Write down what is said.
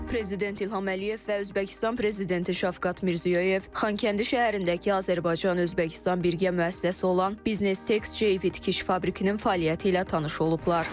Prezident İlham Əliyev və Özbəkistan Prezidenti Şavkat Mirziyoyev Xankəndi şəhərindəki Azərbaycan Özbəkistan birgə müəssisəsi olan Biznes Tex Fabrikinin fəaliyyəti ilə tanış olublar.